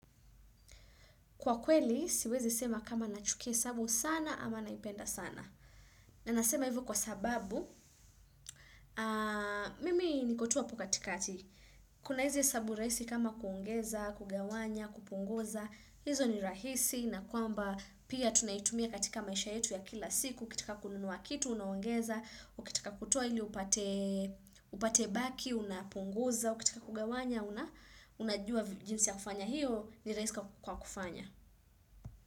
Kwa kweli, siwezi sema kama nachukia hesabu sana ama naipenda sana. Na nasema hivyo kwa sababu, mimi niko tu hapo katikati. Kuna hizi hesabu rahisi kama kuongeza, kugawanya, kupunguza. Hizo ni rahisi na kwamba pia tunaitumia katika maisha yetu ya kila siku. Ukiitaka kununua kitu, unaongeza. Ukitaka kutua ili upate, upate baki, unapunguza. Ukitaka kugawanya, una-unajua jinsi ya kufanya hiyo ni rahisi kwa kufanya.